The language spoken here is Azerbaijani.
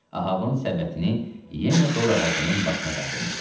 Ahabın səbətini yenə dorağacının başına qaldırmışdılar.